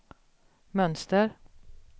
mönster